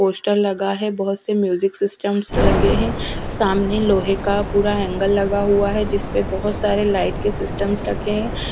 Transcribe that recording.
Poster लगा है बहुत से म्यूजिक सिस्टम्स लगे है सामने लोहे का पूरा एंगल लगा हुआ है जिस पे बहुत सारे लाईट के सिस्टम्स रखे है ।